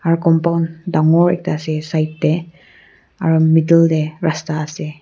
aru compound dangor ekta ase side te aru middle te rasta ase.